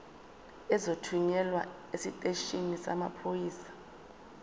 uzothunyelwa esiteshini samaphoyisa